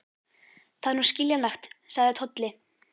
Það er nú skiljanlegt, sagði Tolli.